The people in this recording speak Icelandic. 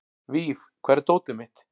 Víf, hvar er dótið mitt?